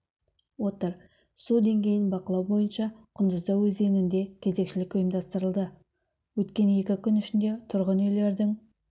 отыр су деңгейін бақылау бойынша құндұзда өзенінде кезекшілік ұйымдастырылды өткен екі күн ішінде тұрғын үйлердің